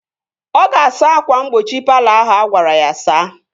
Ọ ga-asa ákwà mgbochi palọ ahụ agwara ya saa